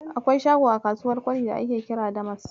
Akwai shago a kasuwar Kwari da ake kira Damask.